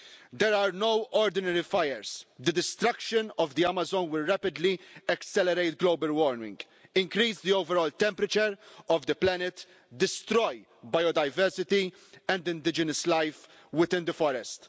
There are no ordinary fires the destruction of the Amazon will rapidly accelerate global warming, increase the overall temperature of the planet, and destroy biodiversity and indigenous life within the forest.